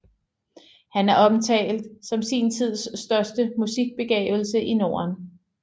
Han er omtalt som sin tids største musikbegavelse i Norden